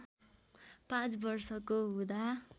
पाँच वर्षको हुँदा